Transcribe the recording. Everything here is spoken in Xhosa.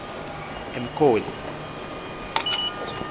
emkoli